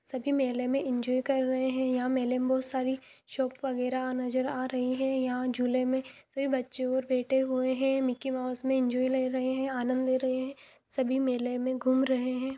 सभी मेले में एन्जॉय कर रहे है यंहा मेले में बहुत सारी शॉप वगैरा नजर आ रही है यंहा झूले में बच्चे बैठे हुए है मिक्की माउस में एन्जॉय ले रहे है सभी मेले में घूम रहे है।